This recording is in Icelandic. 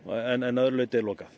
en að öðru leiti er lokað